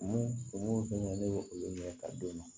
Mun fɛn ne ye olu ɲɛ ka d'u ma